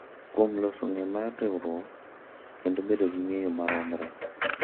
Kuom loso ng’eyo mar riwruok kendo bedo gi ng’eyo maromre.